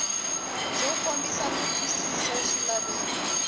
byo kombisa ku twisisa swilaveko